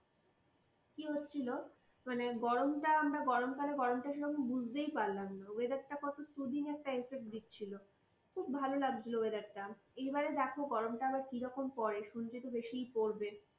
কি হচ্ছিল, মানে গরমটা আমরা গরম কালের গরমটা সেভাবে বুঝতেই পারলাম না। weather টা কদিনের সুদিনের type এর দিচ্ছিল। খুব ভালো লাগছিল weather টা । এবারে দেখো, গরম টা আবার কিরকম পড়ে, শুনছি তো বেশিই পড়বে।